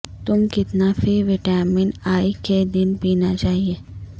تم کتنا فی وٹامن ای کے دن پینا چاہئے